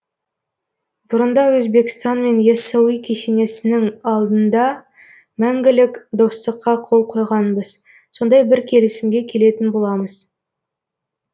бұрында өзбекстанмен яссауи кесенесінің алдында мәңгілік достыққа қол қойғанбыз сондай бір келісімге келетін боламыз